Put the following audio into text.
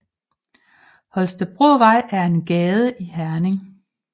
Holstebrovej er en gade i Herning